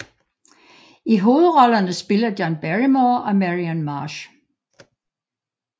I hovedrollerne spiller John Barrymore og Marian Marsh